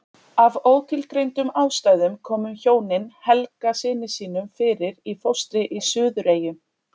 Af ótilgreindum ástæðum komu hjónin Helga syni sínum fyrir í fóstri í Suðureyjum.